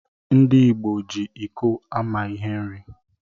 Ndi igbo ji iko ama ihe nri.